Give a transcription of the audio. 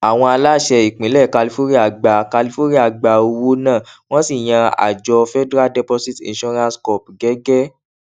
àwọn aláṣẹ ìpínlè kálífóríà gba kálífóríà gba owó náà wón sì yan àjọ federal deposit insurance corp gégé